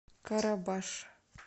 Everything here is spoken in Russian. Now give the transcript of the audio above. карабаш